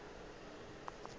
go le bjalo a napa